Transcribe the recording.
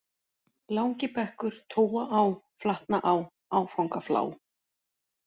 Langibekkur, Tóaá, Flatnaá, Áfangaflá